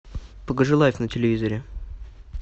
покажи лайф на телевизоре